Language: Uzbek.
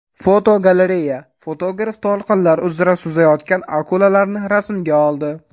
Fotogalereya: Fotograf to‘lqinlar uzra suzayotgan akulalarni rasmga oldi.